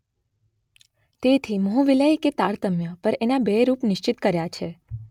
તેથી મોહવિલય કે તારતમ્ય પર એના બે રૂપ નિશ્ચિત કર્યા છે.